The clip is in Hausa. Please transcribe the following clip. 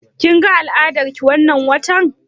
Kin ga al'adar ki wannan watan?